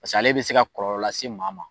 ale bɛ se ka kɔlɔlɔ lase maa ma.